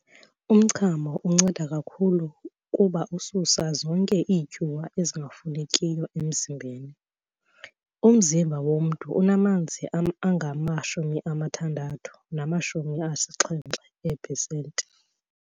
Umchamo unceda kakhulu kuba ususa zonke iityuwa ezingafunekiyo emzimbeni. umzimba womntu unamanzi angama-60 nama-70 ee-pesenti.